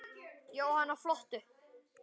Jóhanna: Flottur?